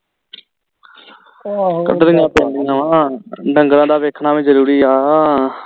ਆਹੋ ਕੱਢਣੀਆਂ ਤਾਂ ਆਉਂਦੀਆਂ ਵਾ ਢੰਗਰਾ ਦਾ ਵੇਖਣਾ ਵੀ ਜਰੂਰੀ ਆ